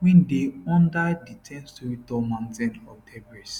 wey dey under di 10storey tall mountain of debris